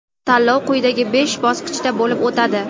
tanlov quyidagi besh bosqichda bo‘lib o‘tadi:.